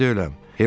Evdə deyiləm.